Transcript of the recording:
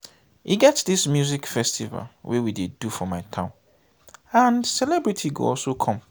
e get dis music festival wey we dey do for my town and celebrities go also come